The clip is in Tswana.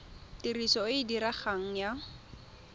tiriso e e diregang ya